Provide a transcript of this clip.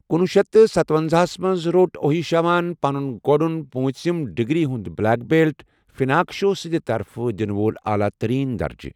کُنوُہ شیٚتھ تہٕ ستونزاہَس منٛز روٚٹ اوہشیما ہَن پنُن گوڈن پوٚنژِم ڈگری ہنٛد بلیک بیلٹ، فناکشو سنٛدِ طرفہٕ دِنہٕ وول اعلیٰ ترین درجہٕ۔